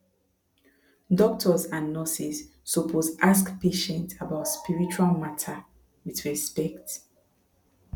doctors and nurses suppose ask patient about spiritual matter with respect